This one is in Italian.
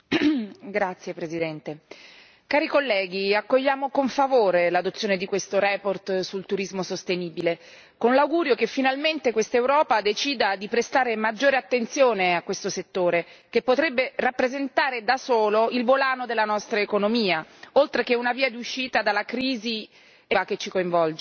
Signora Presidente, onorevoli colleghi, accogliamo con favore l'approvazione di questa relazione sul turismo sostenibile, con l'augurio che finalmente questa Europa decida di prestare maggiore attenzione a questo settore, che potrebbe rappresentare, da solo, il volano della nostra economia, oltre che una via d'uscita dalla crisi economica e lavorativa che ci coinvolge.